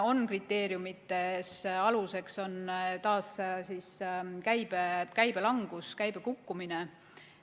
Kriteeriumide aluseks on taas käibelangus, käibe kukkumine.